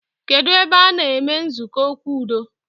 Kedụ ebe a-na eme nzukọ okwu udo